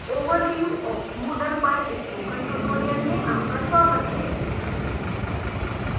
overview of moodle पर spoken tutorial में आपका स्वागत है